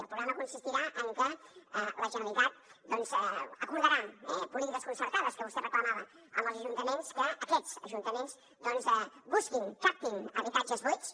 el programa consistirà que la generalitat acordarà polítiques concertades que vostè reclamava amb els ajuntaments perquè aquests ajuntaments busquin captin habitatges buits